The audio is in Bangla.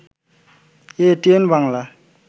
এটিএন বাংলা